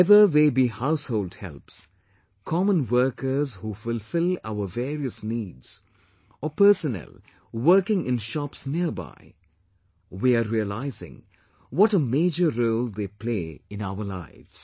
Whether they are household helps, common workers who fulfill our various needs or personnel working in shops nearby we are realising what a major role they play in our lives